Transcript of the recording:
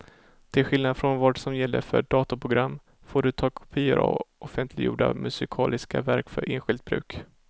Till skillnad från vad som gäller för datorprogram får du ta kopior av offentliggjorda musikaliska verk för enskilt bruk.